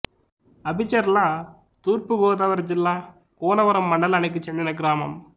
అబిచెర్ల తూర్పు గోదావరి జిల్లా కూనవరం మండలానికి చెందిన గ్రామం